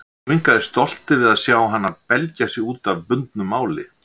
Og ekki minnkaði stoltið við að sjá hana belgja sig út af bundnu máli.